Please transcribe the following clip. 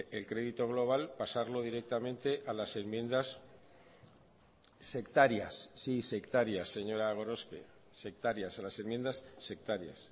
el crédito global pasarlo directamente a las enmiendas sectarias sí sectarias señora gorospe sectarias a las enmiendas sectarias